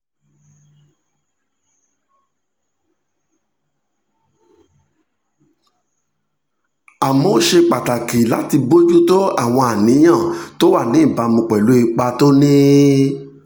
àmọ́ ó ṣe pàtàkì láti bójú tó àwọn àníyàn tó wà níbàámu pẹ̀lú ipa tó ní